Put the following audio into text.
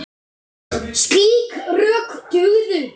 Slík rök dugðu.